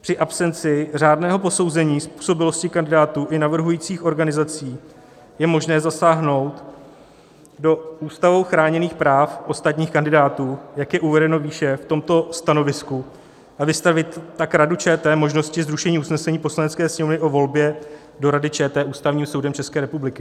Při absenci řádného posouzení způsobilosti kandidátů i navrhujících organizací je možné zasáhnout do ústavou chráněných práv ostatních kandidátů, jak je uvedeno výše v tomto stanovisku, a vystavit tak Radu ČT možnosti zrušení usnesení Poslanecké sněmovny o volbě do Rady ČT Ústavním soudem České republiky.